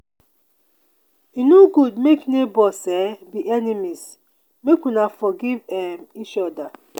e no good make nebors um be enemies make una forgive um each oda.